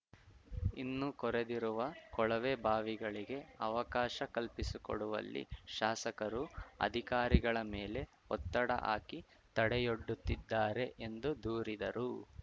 ಇನ್ನು ಕೊರೆದಿರುವ ಕೊಳವೆಬಾವಿಗಳಿಗೆ ಅವಕಾಶ ಕಲ್ಪಿಸಿಕೊಡುವಲ್ಲಿ ಶಾಸಕರು ಅಧಿಕಾರಿಗಳ ಮೇಲೆ ಒತ್ತಡ ಹಾಕಿ ತಡೆಯೊಡ್ಡುತ್ತಿದ್ದಾರೆ ಎಂದು ದೂರಿದರು